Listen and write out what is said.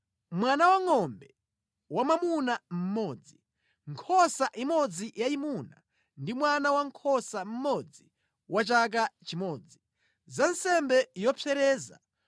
mwana wangʼombe wamwamuna mmodzi, nkhosa imodzi yayimuna ndi mwana wankhosa mmodzi wa chaka chimodzi, za nsembe yopsereza;